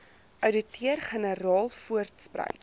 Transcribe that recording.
ouditeur generaal voortspruit